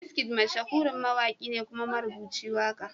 Wizkid mashahurin mawaki ne kuma marubuci waka.